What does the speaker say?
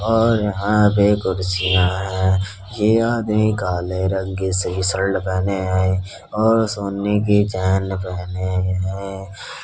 और यहाँ पे कुर्सियाँ है। ये आदमी काला रंग की शीषद पहने है और सोने की चैन पहने हुए है।